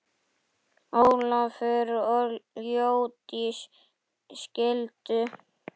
Ólafur og Jódís skildu.